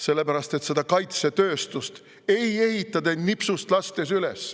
Sellepärast et seda kaitsetööstust ei ehita te nipsust üles.